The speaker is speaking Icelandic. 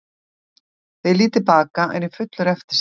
Þegar ég lít til baka er ég fullur eftirsjár.